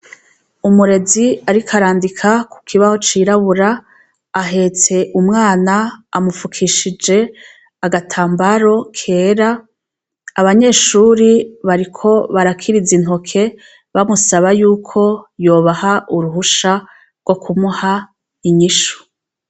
Umurezi arikoarandika ku kibaho cirabura ahetse umwana amupfukishije agatambaro kera abanyeshuri bariko barakirize intoke bamusaba yuko yobaha uruhusha rwo kumuha inyishu.